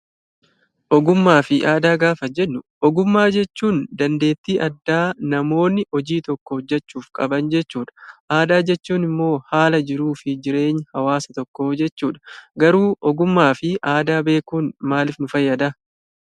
Ogummaa fi aadaa gaafa jennu, ogummaa jechuun dandeettii addaa namoonni hojii tokko hojjechuuf qaban jechuudha. Aadaa jechuun immoo haala jiruu fi jireenya hawaasa tokkoo jechuudha. Garuu ogummaa fi aadaa beekuun maaliif nu fayyada?